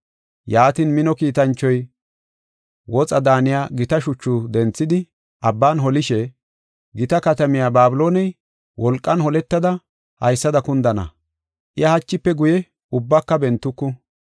Yaatin, mino kiitanchoy woxa daaniya gita shuchu denthidi abban holishe, “Gita katamiya Babilooney wolqan holettada haysada kundana; iya hachife guye ubbaka bentuku.